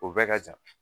O bɛɛ ka jan